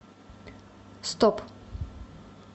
стоп